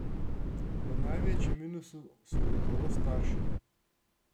V največjem minusu so gotovo starši.